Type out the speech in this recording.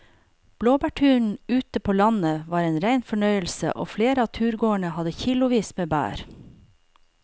Blåbærturen ute på landet var en rein fornøyelse og flere av turgåerene hadde kilosvis med bær.